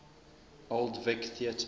old vic theatre